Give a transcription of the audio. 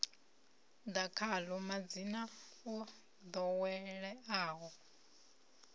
ḓa khaḽo madzina o ḓoweleaho